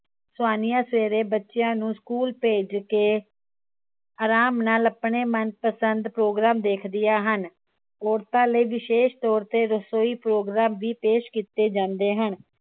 ਸਵਾਨੀਆ ਸਵੇਰੇ ਬੱਚਿਆਂ ਨੂੰ school ਭੇਜ ਕੇ ਅਰਾਮ ਨਾਲ ਆਪਣੇ ਮਨਪਸੰਦ program ਦੇਖਦਿਆਂ ਹਨ ਔਰਤਾਂ ਲਈ ਵਿਸ਼ੇਸ਼ ਤੌਰ ਤੇ ਰਸੋਈ program ਵੀ ਪੇਸ਼ ਕੀਤੇ ਜਾਂਦੇ ਹਨ